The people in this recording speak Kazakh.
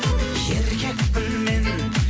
еркекпін мен